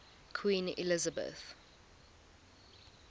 queen elizabeth